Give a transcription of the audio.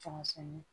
Tɔmisɛnnin